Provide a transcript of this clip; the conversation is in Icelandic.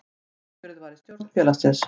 Sjálfkjörið var í stjórn félagsins